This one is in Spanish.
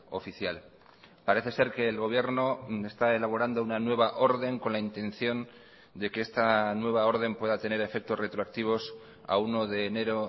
oficial parece ser que el gobierno está elaborando una nueva orden con la intención de que esta nueva orden pueda tener efectos retroactivos a uno de enero